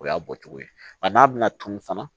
O y'a bɔcogo ye wa n'a bɛna tunun fana